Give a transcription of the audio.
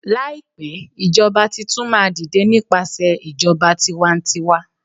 laipe ijoba Titun ma dide nipasẹ ijoba tiwantiwa